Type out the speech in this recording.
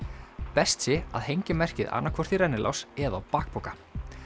best sé að hengja merkið annaðhvort í rennilás eða á bakpoka